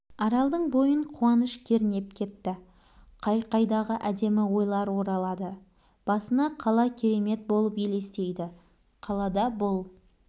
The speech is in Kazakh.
аралдың бойын қуаныш кернеп кетті қай-қайдағы әдемі ойлар оралады басына қала керемет болып елестейді қалада бұл